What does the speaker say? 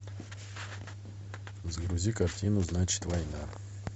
загрузи картину значит война